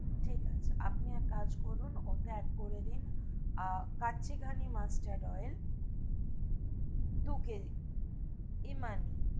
ঠিক আছে আপনি এক কাজ করুন, ওকে অ্যাড করে দিন, কাচ্চি ঘানি mustard oil দু KG ইমামি,